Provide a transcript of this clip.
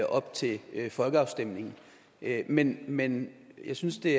op til folkeafstemningen men men jeg synes det